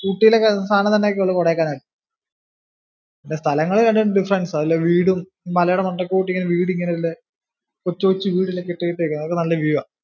ഊട്ടിയിലേക്കാൾ സാധനങ്ങൾ ഒക്കെ കിട്ടുന്നെ കൊടൈക്കനാലാ. പിന്നെ സ്ഥലങ്ങള് രണ്ടും difference ആ വീടും മലേടെ മണ്ടയ്ക്കൊട്ടിങ്ങനെ വീട് ഇങ്ങനെ ഇല്ല് കൊച്ചു കൊച്ചു വീട് ഇങ്ങനെ കെട്ടിയേക്കുവാ അതൊക്കെ നല്ല view ആ.